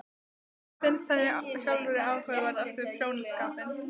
En hvað finnst henni sjálfri áhugaverðast við prjónaskapinn?